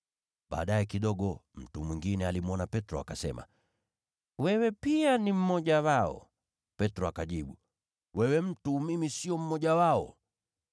Baadaye kidogo, mtu mwingine alimwona Petro akasema, “Wewe pia ni mmoja wao!” Petro akajibu, “Wewe mtu, mimi sio mmoja wao!”